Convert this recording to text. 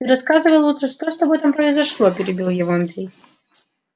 ты рассказывай лучше что с тобой там произошло перебил его андрей